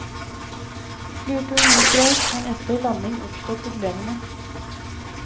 Flyturen gikk greit, men etter landing oppsto problemene.